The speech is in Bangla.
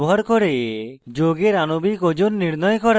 chemical calculator ব্যবহার করে যৌগের আণবিক ওজন নির্ণয় করা